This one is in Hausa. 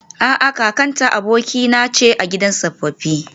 A'a, kakata abokaina ce a gidan tsofaffi